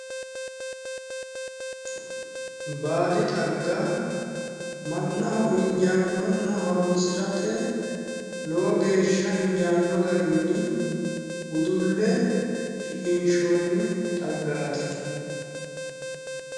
Baadi xagga mannaho injaannonna horonsirate lowo geeshsha injaanno garinni udulle shiqinshoonni xaggaati